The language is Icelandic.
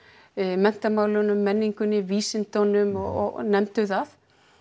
menntamálunum menningunni vísindum og nefndu það